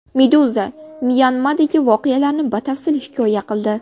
Meduza Myanmadagi voqealarni batafsil hikoya qildi .